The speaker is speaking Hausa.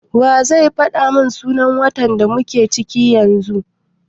Wa zai faɗa mun sunan watan da muke ciki yanzu?